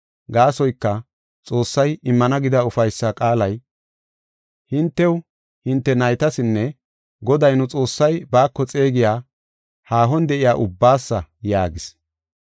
Gaasoyka Xoossay immana gida ufaysa qaalay hintew, hinte naytasinne Goday nu Xoossay baako xeegiya haahon de7iya ubbaasa” yaagis.